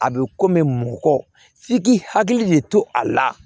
A bɛ komi mɔgɔ f'i k'i hakili de to a la